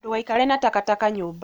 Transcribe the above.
Ndũgaikare na takataka nyũmba